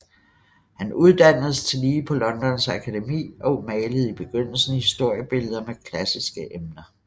Han uddannedes tillige på Londons Akademi og malede i begyndelsen historiebilleder med klassiske emner